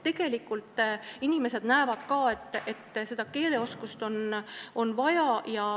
Tegelikult inimesed näevad, et keeleoskust on vaja.